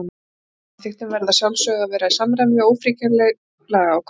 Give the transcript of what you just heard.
Ákvæði í samþykktum verða að sjálfsögðu að vera í samræmi við ófrávíkjanleg lagaákvæði.